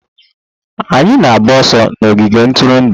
Anyị na-agba ọsọ n'ogige ntụrụndụ.